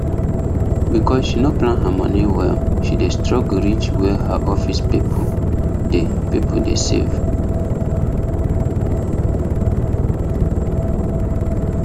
because she no plan her money well she dey struggle reach where her office people dey people dey save